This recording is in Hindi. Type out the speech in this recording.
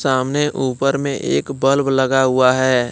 सामने ऊपर में एक बल्ब लगा हुआ है।